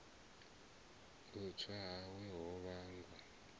u tswa hawe ho vhanga